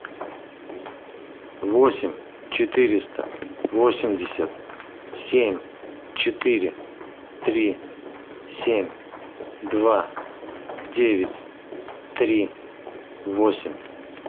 восемь четыреста восемьдесят семь четыре три семь два девять три восемь